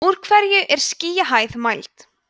úr hverju er skýjahæð mæld